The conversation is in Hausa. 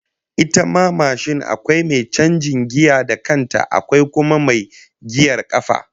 Ita ma mashin akwai mai canjin giya da kanta, akwai kuma mai giyar kafa